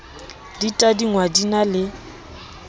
di tadingwa di na le